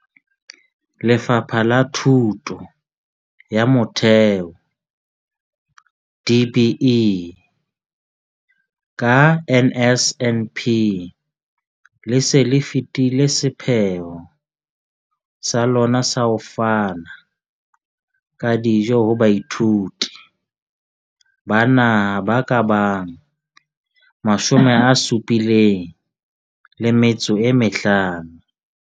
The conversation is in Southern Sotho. Lefapha la Thuto ya Motheo DBE, ka NSNP, le se le fetile sepheo sa lona sa ho fana ka dijo ho baithuti ba naha ba ka bang 75.